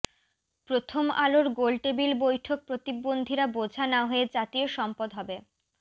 প্রথম আলোর গোলটেবিল বৈঠক প্রতিবন্ধীরা বোঝা না হয়ে জাতীয় সম্পদ হবে